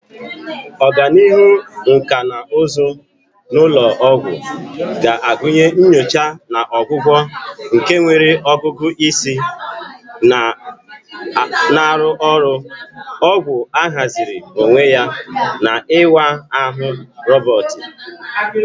Ọganihu nkà na ụzụ n'ụlọ ọgwụ ga-agụnye nyocha na ọgwụgwọ nke nwere ọgụgụ isi na-arụ ọrụ, ọgwụ ahaziri onwe ya, na ịwa ahụ roboti.